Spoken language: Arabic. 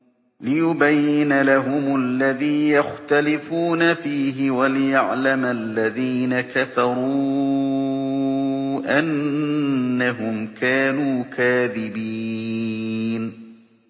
لِيُبَيِّنَ لَهُمُ الَّذِي يَخْتَلِفُونَ فِيهِ وَلِيَعْلَمَ الَّذِينَ كَفَرُوا أَنَّهُمْ كَانُوا كَاذِبِينَ